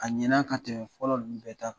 A ɲɛna ka tɛmɛ fɔlɔ ninnu bɛ ta kan.